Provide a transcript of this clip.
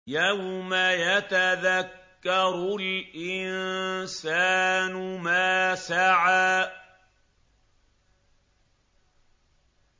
يَوْمَ يَتَذَكَّرُ الْإِنسَانُ مَا سَعَىٰ